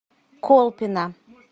колпино